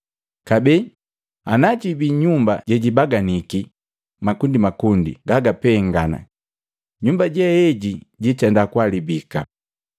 Kabee najibii nyumba jejibaganiki makundimakundi gagapengana, nyumba jeeji jiitenda kuhalabika.